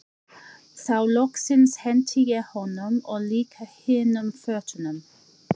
Þá loksins henti ég honum og líka hinum fötunum.